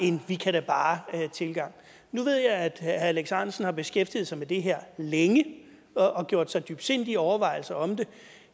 en vi kan da bare tilgang nu ved jeg at herre alex ahrendtsen har beskæftiget sig med det her længe og gjort sig dybsindige overvejelser om det